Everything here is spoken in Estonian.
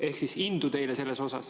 Ehk siis indu teile selles.